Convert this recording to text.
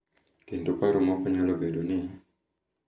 Kendo paro moko nyalo bedo ni,